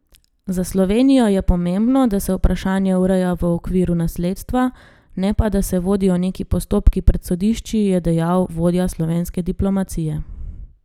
Za Slovenijo je pomembno, da se vprašanje ureja v okviru nasledstva, ne pa da se vodijo neki postopki pred sodišči, je dejal vodja slovenske diplomacije.